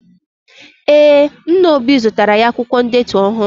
Ee, nna obi zụtara ya akwụkwọ ndetu ọhụrụ.